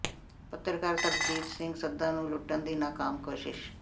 ਪੱਤਰਕਾਰ ਸਰਬਜੋਤ ਸਿੰਘ ਸੰਧਾ ਨੂੰ ਲੁੱਟਣ ਦੀ ਨਾਕਾਮ ਕੋਸ਼ਿਸ਼